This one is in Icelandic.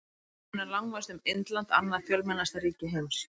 Þar munar langmest um Indland, annað fjölmennasta ríki heims.